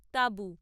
টাবু।